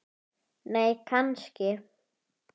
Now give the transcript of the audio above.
nei kannski